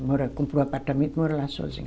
Mora, comprou um apartamento e mora lá sozinha.